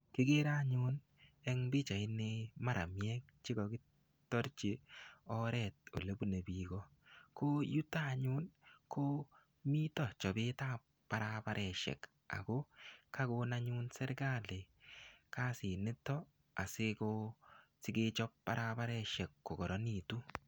Kikere anyun eng pichait ni maramiek che kakitarchi oret ole bune biiko . Ko yutok anyun, ko mitoi chapetap barabaresiek. Ako kakon anyun serikali kasit nitok, asiko sikechap barabaresiek kokararanitu.